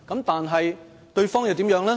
但是，對方又如何呢？